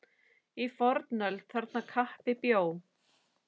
Í fornöld þarna kappi bjó.